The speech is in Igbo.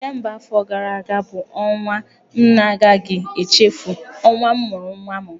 Disemba afọ gara aga bụ ọnwa m na-agaghị echefu, ọnwa m mụrụ nwa m.